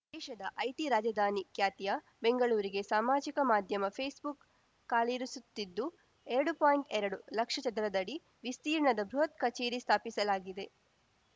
ದೇಶದ ಐಟಿ ರಾಜಧಾನಿ ಖ್ಯಾತಿಯ ಬೆಂಗಳೂರಿಗೆ ಸಾಮಾಜಿಕ ಮಾಧ್ಯಮ ಫೇಸ್‌ಬುಕ್‌ ಕಾಲಿರಿಸುತ್ತಿದ್ದು ಎರಡು ಪಾಯಿಂಟ್ಎರಡು ಲಕ್ಷ ಚದರಡಿ ವಿಸ್ತೀರ್ಣದ ಬೃಹತ್‌ ಕಚೇರಿ ಸ್ಥಾಪಿಸಲಿದೆ